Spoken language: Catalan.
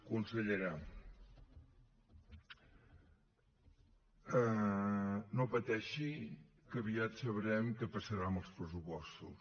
consellera no pateixi que aviat sabrem què passarà amb els pressupostos